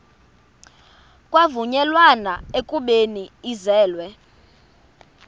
kwavunyelwana ekubeni ibizelwe